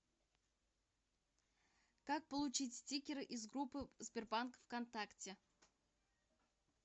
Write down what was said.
как получить стикеры из группы сбербанк в контакте